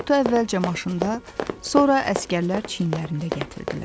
Tabutu əvvəlcə maşında, sonra əsgərlər çiyinlərində gətirdilər.